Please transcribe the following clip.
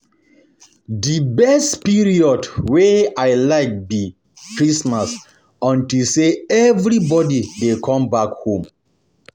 The best period wey I like be Christmas unto say everybody dey come back home